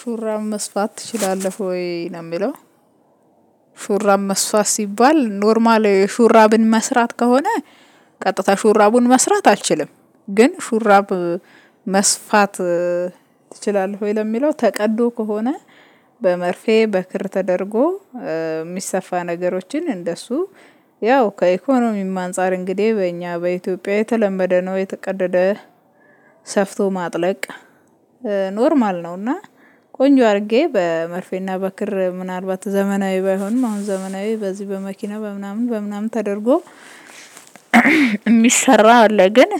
ሹራብ መስፋት ትችላለህ ወይ ነው የሚለው? ሹራብ መስፋት ሲባል ኖርማል ሹራብን መስራት ከሆነ ቀጥታ ሹራቡን መስራት አልችልም። ግን ሹራብ መስፋት ትችላለህ? ወይ ለሚለው ተቀዶ ከሆነ በመርፌ በክር ተደርጎ የሚሰፋ ነገሮችን እንደሱ ያው ከኢኮኖሚም አንፃር እንግዲህ በእኛ በኢትዮጵያ የተለመደ ነው። የተቀደደ ሰፍቶ ማጥለቅ። ኖርማል ነውና። ቆንጆ አድርጌ በመርፌና በክር ምናልባት ዘመናዊ ባይሆንም አሁን ዘመናዊ በዚህ በመኪና በምናምን በምናምን ተደርጎ የሚሰራ አለ። ግን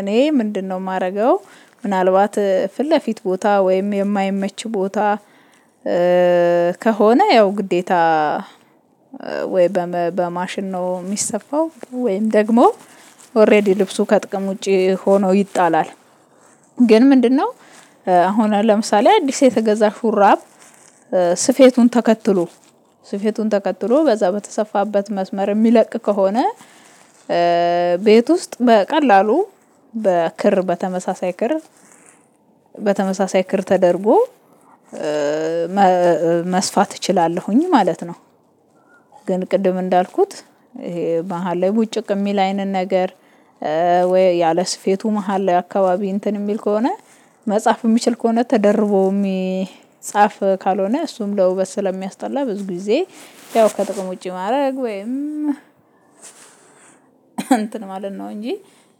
እኔ ምንድነው የማደርገው? ምናልባት ፊት ለፊት ቦታ ወይም የማይመች ቦታ። ከሆነ ያው ግዴታ ወይ በማሽን ነው የሚሰፋው ወይም ደግሞ ኦሬዲ ልብሱ ከጥቅም ውጪ ሆኖ ይጣላል። ግን ምንድነው? አሁን ለምሳሌ አዲስ የተገዛ ሹራብ ስፌቱን ተከትሎ ስፌቱን ተከትሎ በዛ በተሰፋበት መስመር የሚለቅ ከሆነ ቤት ውስጥ በቀላሉ በክር በተመሳሳይ ክር በተመሳሳይ ክር ተደርጎ መስፋት እችላለሁኝ ማለት ነው። ግን ቅድም እንዳልኩት ይሄ መሃል ላይ ቡጭቅ የሚል አይነት ነገር። ወይ ያለ ስፌቱ መሃል ላይ አካባቢ እንትን የሚል ከሆነ መጻፍ የሚችል ከሆነ ተደርቦ የሚጻፍ ካልሆነ እሱም ለውበት ስለሚያስጠላ ብዙ ጊዜ ያው ከጥቅም ውጪ ማድረግ ወይም እንትን ማለት ነው እንጂ።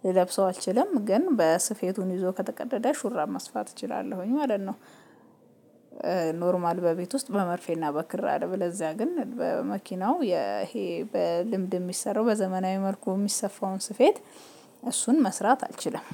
ልለብሰው አልችልም ግን በስፌቱን ይዞ ከተቀደደ ሹራብ መስፋት እችላለሁኝ ማለት ነው። ኖርማል በቤት ውስጥ በመርፌና በክር አለበለዚያ ግን በመኪናው ይሄ በልምድ የሚሰራው በዘመናዊ መልኩ የሚሰፋውን ስፌት እሱን መስራት አልችልም።